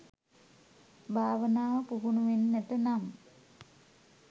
භාවනාව, පුහුණුවෙන්නට නම්,